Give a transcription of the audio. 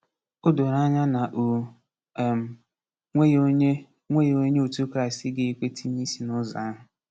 O doro anya na o um nweghị onye nweghị onye otu Kraịst ga-ekwe tinye isi n’ụzọ ahụ.